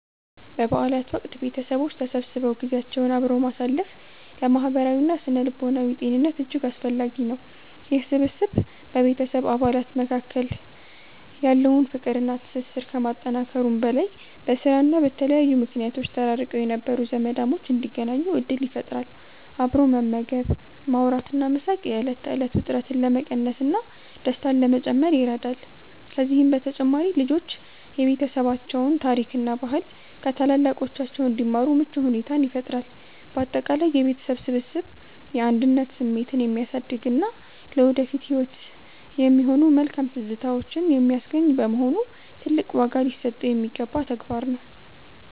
በበዓላት ወቅት ቤተሰቦች ተሰብስበው ጊዜያቸውን አብረው ማሳለፍ ለማህበራዊና ስነ-ልቦናዊ ጤንነት እጅግ አስፈላጊ ነው። ይህ ስብስብ በቤተሰብ አባላት መካከል ያለውን ፍቅርና ትስስር ከማጠናከሩም በላይ፣ በስራና በተለያዩ ምክንያቶች ተራርቀው የነበሩ ዘመዳሞች እንዲገናኙ ዕድል ይፈጥራል። አብሮ መመገብ፣ ማውራትና መሳቅ የዕለት ተዕለት ውጥረትን ለመቀነስና ደስታን ለመጨመር ይረዳል። ከዚህም በተጨማሪ ልጆች የቤተሰባቸውን ታሪክና ባህል ከታላላቆቻቸው እንዲማሩ ምቹ ሁኔታን ይፈጥራል። ባጠቃላይ የቤተሰብ ስብስብ የአንድነት ስሜትን የሚያሳድግና ለወደፊት ህይወት የሚሆኑ መልካም ትዝታዎችን የሚያስገኝ በመሆኑ፣ ትልቅ ዋጋ ሊሰጠው የሚገባ ተግባር ነው።